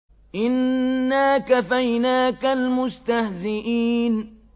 إِنَّا كَفَيْنَاكَ الْمُسْتَهْزِئِينَ